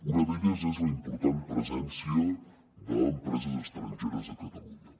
una d’elles és la important presència d’empreses estrangeres a catalunya